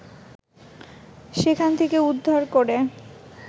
সেখান থেকে উদ্ধার করে